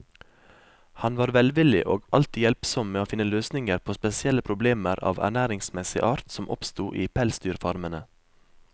Han var velvillig og alltid hjelpsom med å finne løsninger på spesielle problemer av ernæringsmessig art som oppsto i pelsdyrfarmene.